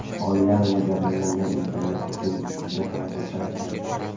Oilam va jabrlangan insonlar uchun juda ham qo‘rqayapman.